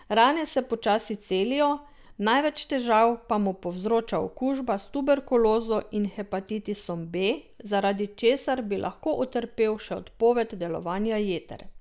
Rane se počasi celijo, največ težav pa mu povzroča okužba s tuberkulozo in hepatitisom B, zaradi česar bi lahko utrpel še odpoved delovanja jeter.